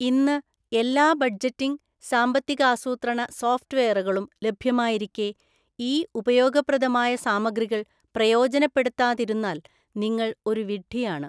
ഇന്ന് എല്ലാ ബഡ്ജറ്റിംഗ്, സാമ്പത്തികാസൂത്രണ സോഫ്‌റ്റ്‌വെയറുകളും ലഭ്യമായിരിക്കെ, ഈ ഉപയോഗപ്രദമായ സാമഗ്രികള്‍ പ്രയോജനപ്പെടുത്താതിരുന്നാൽ നിങ്ങൾ ഒരു വിഡ്ഢിയാണ്.